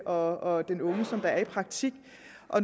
og den unge som er i praktik